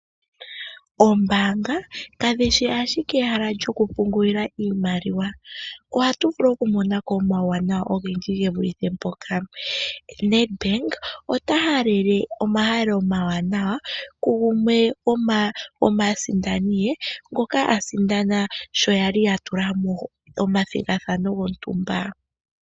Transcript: Oombaanga kadhi shi ashike ehala lyokupungulila iimaliwa. Ohatu vulu okumona ko omawuwanawa ogendji ge vulithe mpoka. Nedbank ota halele omahalelo omawanawa kugumwe gomaasindani ye ngoka a sindana sho ya li ya tula mo omathigathano gontumba.